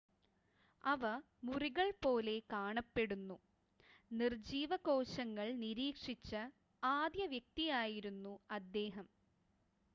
അവ മുറികൾ പോലെ കാണപ്പെട്ടു നിർജ്ജീവ കോശങ്ങൾ നിരീക്ഷിച്ച ആദ്യ വ്യക്തിയായിരുന്നു അദ്ദേഹം